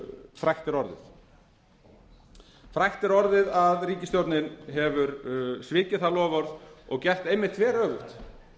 frægt er orðið frægt er orðið að ríkisstjórnin hefur svikið það loforð og gert einmitt